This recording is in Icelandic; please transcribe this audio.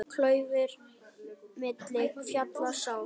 Klaufir milli fjalla sá.